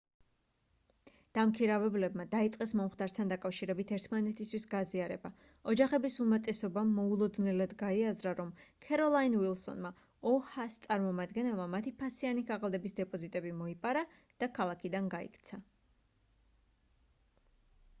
დამქირავებლებმა დაიწყეს მომხდართან დაკავშირებით ერთმანეთისთვის გაზიარება ოჯახების უმეტესობამ მოულოდნელად გაიაზრა რომ ქეროლაინ ვილსონმა oha-ს წარმომადგენელმა მათი ფასიანი ქაღალდების დეპოზიტები მოიპარა და ქალაქიდან გაიქცა